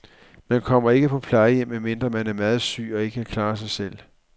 Man kommer ikke på plejehjem, medmindre man er meget syg og ikke kan klare sig selv.